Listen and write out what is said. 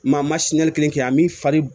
Maa ma kelen kɛ a m'i fari